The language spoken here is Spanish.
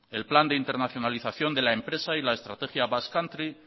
el plan de internacionalización de la empresa y la estrategia basque country